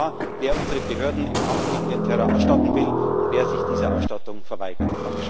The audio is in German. Es wird klar, wer unsere Behörden im Kampf gegen den Terror ausstatten will und wer sich dieser Ausstattung verweigert.